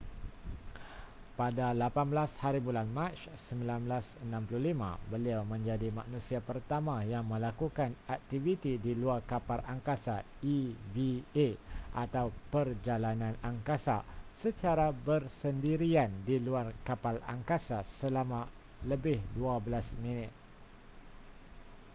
pada 18hb mac 1965 beliau menjadi manusia pertama yang melakukan aktiviti di luar kapal angkasa eva atau perjalanan angkasa” secara bersendirian di luar kapal angkasa selama lebih dua belas minit